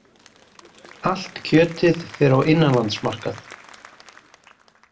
Allt kjötið fer á innanlandsmarkað